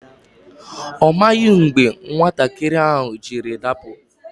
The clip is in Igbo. Ọ maghị mgbe nwatakịrị ahụ jiri dapụ.